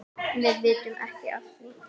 Við vitum ekki af því.